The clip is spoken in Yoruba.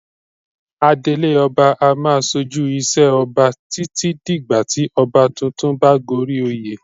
Adelé ọba a máa ṣojú ìṣe Ọba títí dìgbà tí ọba tuntun bá goríoyè.